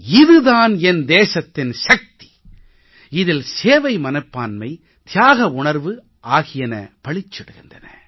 இது தான் என் தேசத்தின் சக்தி இதில் சேவை மனப்பான்மை தியாக உணர்வு ஆகியவை பளிச்சிடுகின்றன